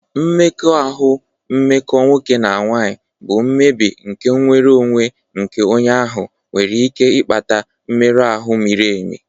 Mmekọahụ mmekọ nwoke na nwanyị bụ mmebi nke nnwere onwe nke onye ahụ nwere ike ịkpata mmerụ ahụ miri emi.